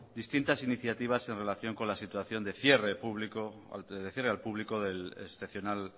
distintas iniciativas en relación con la situación de cierre al público del excepcional